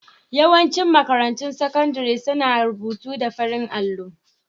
Yawancin makarantun sakandare suna rubutu da farar allo.